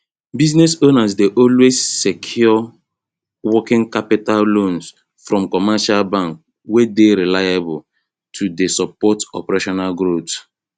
business owners dey always secure working capital loans from commercial banks wey dey reliable to dey support operational growth